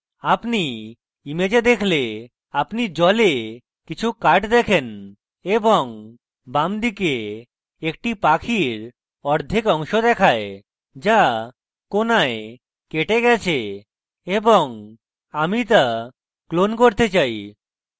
আপনি image দেখলে আপনি জলে কিছু কাঠ দেখেন এবং বামদিকে একটি পাখির অর্ধেক অংশ দেখায় যা কোণায় কেটে গেছে এবং আমি তা clone করতে cut